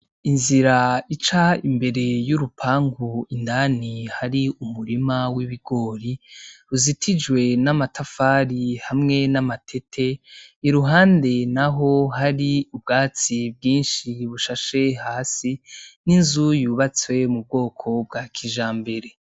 Inzira ica imbere y’urupangu indani hari umurima w’ibigori uzitijwe n’amatafari hamwe n’amatete, iruhande naho hari ubwatsi bwinshi bushashe hasi, n’inzu yubatse mu bwoko bwa kijambere.